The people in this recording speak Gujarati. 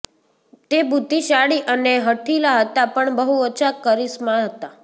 તે બુદ્ધિશાળી અને હઠીલા હતા પણ બહુ ઓછા કરિશ્મા હતા